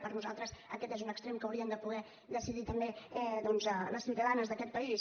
per nosaltres aquest és un extrem que haurien de poder decidir també doncs les ciutadanes d’aquest país